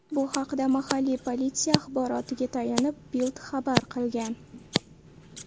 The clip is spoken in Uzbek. Bu haqda mahalliy politsiya axborotiga tayanib, Bild xabar qilgan .